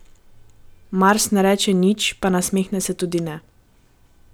Mars ne reče nič, pa nasmehne se tudi ne.